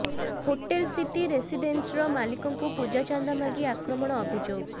hotel city ରେସିଡେନ୍ସିର ମାଲିକଙ୍କୁ ପୂଜା ଚାନ୍ଦା ମାଗି ଆକ୍ରମଣ ଅଭିଯୋଗ